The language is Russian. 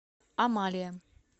амалия